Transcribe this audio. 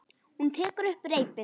Hún tekur upp reipið.